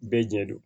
Bɛɛ ɲɛ do